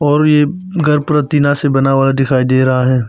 और ये घर पूरा टीना से बना हुआ दिखाई दे रहा है।